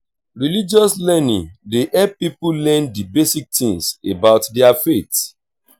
religious learning dey help pipo learn di basic things about their faith